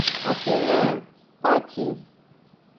афина пати